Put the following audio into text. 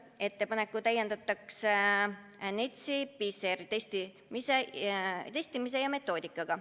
On ettepanek täiendada NETS-i PCR-testimise ja metoodikaga.